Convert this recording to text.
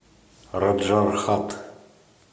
раджархат